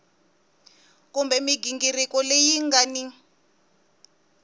kumbe mighingiriko leyi nga ni